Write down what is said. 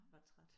Var træt